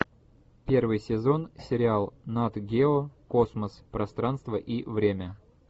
первый сезон сериал нат гео космос пространство и время